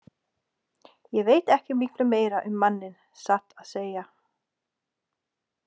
Ég veit ekki miklu meira um manninn, satt að segja.